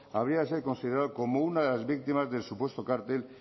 habría de ser considerado como una de las víctimas del supuesto cartel